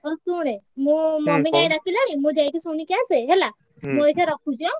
ହଉ ଶୁଣେ ମୁଁ mummy କାଇଁ ଡାକିଲାଣି ମୁଁ ଯାଇକି ଶୁଣିକି ଆସେ ହେଲା ମୁଁ ଏଇଖା ରଖୁଛି ଆଁ?